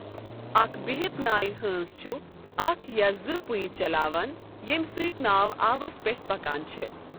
اکھ بِہِتھ نایہِ حٲنٛز چھُ اکھ یا زٕ پِھیُہ چلاون ییٚمہِ سۭتۍ ناو آبَس پٮ۪ٹھۍ پکان چھےٚ۔